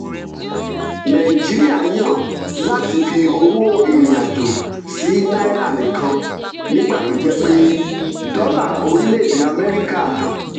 nàìjíríà yàn láti fi owó ìrìn-àjò sí náírà nìkan nígbà tó jẹ́ pé dọ́là orílẹ̀-èdè amẹ́ríkà